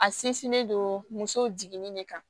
A sinsinnen don muso jiginni de kan